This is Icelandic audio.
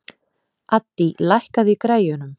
Addý, lækkaðu í græjunum.